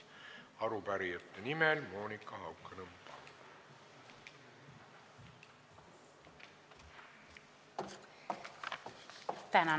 Arupärijate nimel Monika Haukanõmm, palun!